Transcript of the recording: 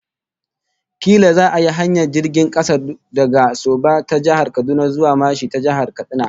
Kila za'a yi hanyar jirgin kasa daga Soba ta Jihar Kaduna zuwa Mashi ta Jihar Katsina